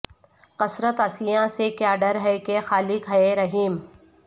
کثرت عصیاں سے کیا ڈر ہے کہ خالق ہے رحیم